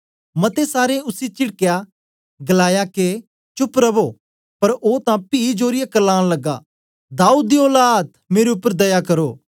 मते सारें उसी चिडकियै गलाया के चुप रवो पर ओ तां पी जोरियै क्रलान लगा दाऊद दी औलाद मेरे उपर दया करो